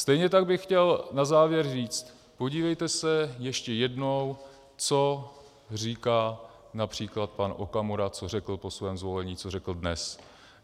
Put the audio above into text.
Stejně tak bych chtěl na závěr říci - podívejte se ještě jednou, co říká například pan Okamura, co řekl po svém zvolení, co řekl dnes.